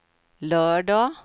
lördag